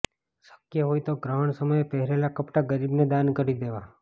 શક્ય હોય તો ગ્રહણ સમયે પહેરેલા કપડા ગરીબને દાન કરી દેવા